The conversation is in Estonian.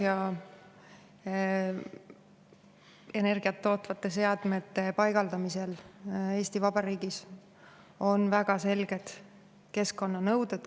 Igasuguste energiat tootvate seadmete paigaldamisel Eesti Vabariigis on väga selged keskkonnanõuded.